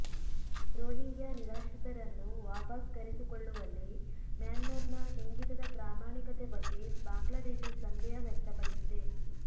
Rohingya ನಿರಾಶ್ರಿತರನ್ನು ವಾಪಸ್ ಕರೆಸಿಕೊಳ್ಳುವಲ್ಲಿ ಮ್ಯಾನ್ಮಾರ್ನ ಇಂಗಿತದ ಪ್ರಾಮಾಣಿಕತೆ ಬಗ್ಗೆ ಬಾಂಗ್ಲಾದೇಶ ಸಂದೇಹ ವ್ಯಕ್ತಪಡಿಸಿದೆ